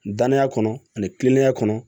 Dananya kɔnɔ ani kilennenya kɔnɔ